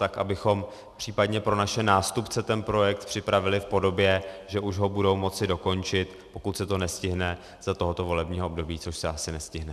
Tak abychom případně pro naše nástupce ten projekt připravili v podobě, že už ho budou moci dokončit, pokud se to nestihne za tohoto volebního období, což se asi nestihne.